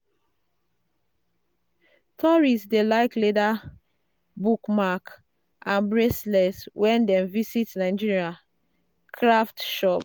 tourists dey like leather bookmark and bracelets when dem visit Nigeria craft shop.